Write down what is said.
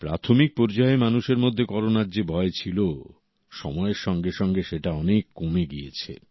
প্রাথমিক পর্যায়ে মানুষের মধ্যে করোনার যে ভয় ছিল সময়ের সঙ্গে সঙ্গে সেটা অনেক কমে গিয়েছে